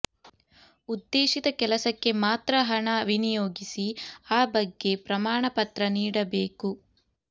ಉದ್ಧೇಶಿತ ಕೆಲಸಕ್ಕೆ ಮಾತ್ರ ಹಣ ವಿನಿಯೋಗಿಸಿ ಆ ಬಗ್ಗೆ ಪ್ರಮಾಣ ಪತ್ರ ನೀಡಬೇಕು